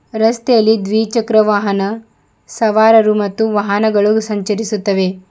ರಸ್ತೆಯಲ್ಲಿ ದ್ವಿಚಕ್ರ ವಾಹನ ಸವಾರರು ಮತ್ತು ವಾಹನಗಳು ಸಂಚರಿಸುತ್ತವೆ.